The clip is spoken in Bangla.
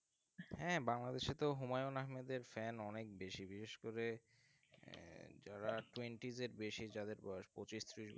হ্যাঁ বাংলাদেশে তো হুমায়ুন আহমেদের fan অনেক বেশি, বিশেষ করে যারা twenties এর বেশি যাদের বয়স, পঁচিশ ত্রিশ